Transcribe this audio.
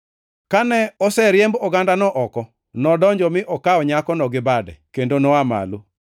Kane oseriemb ogandano oko, nodonjo mi okawo nyakono gi bade, kendo noa malo.